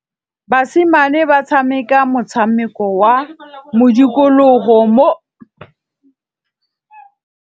Basimane ba tshameka motshameko wa modikologô mo lebaleng.